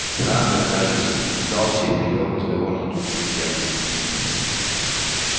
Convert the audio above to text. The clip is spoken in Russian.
хантер кажется сдался и привёл разговор на другую тему